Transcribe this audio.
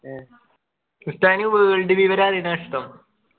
ഏഹ്ഹ് ഉസ്താദിന് ഈ world വിവരം അറിയുന്നതാ ഇഷ്ടം